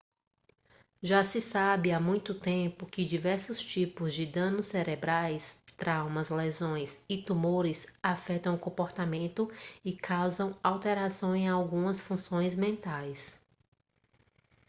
já se sabe há muito tempo que diversos tipos de danos cerebrais traumas lesões e tumores afetam o comportamento e causam alterações em algumas funções mentais